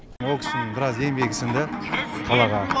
ол кісінің біраз еңбегі сіңді қалаға